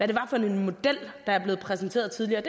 det var for en model der er blevet præsenteret tidligere og